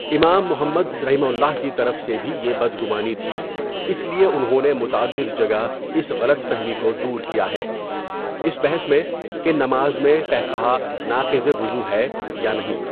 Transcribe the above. امام محمد رحمہ اللہ کی طرف سے بھی یہ بدگمانی تھی اس لیے انہوں نے متعدد جگہ اس غلط فہمی کودور کیا ہے، اس بحث میں کہ نماز میں قہقہ ناقضِ وضو ہے یانہیں؟.